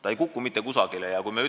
Ta ei kuku mitte kusagile!